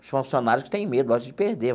Os funcionários que têm medo, acho que de perder.